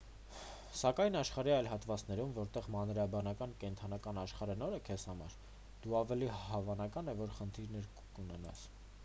սակայն աշխարհի այլ հատվածներում որտեղ մանրէաբանական կենդանական աշխարհը նոր է քեզ համար դու ավելի հավանական է որ խնդիրներ կունենաս